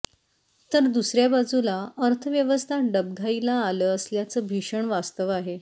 तर दुसऱ्या बाजूला अर्थव्यवस्था डबघाईला आल असल्याचं भीषण वास्तव आहे